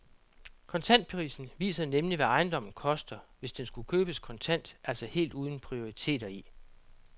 Kontantprisen viser nemlig, hvad ejendommen koster, hvis den skulle købes kontant, altså helt uden prioriteter i.